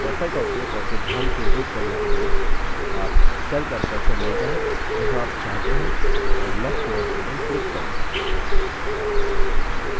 cursor का उपयोग करके ध्यान केंद्रित करने के लिए आप cell पर cursor ले जाएँ जहाँ आप चाहते हैं और left mouse button click करें